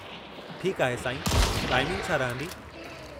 ठीकु आहे साईं, टाइमिंगु छा रहंदी?